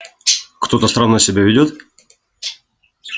кто-то странно себя ведёт